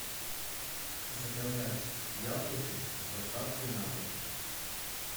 заказать яблоки с доставкой на дом